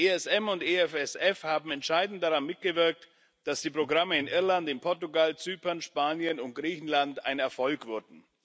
ESM und EFSF haben entscheidend daran mitgewirkt, dass die Programme in Irland, Portugal, Zypern, Spanien und Griechenland ein Erfolg wurden.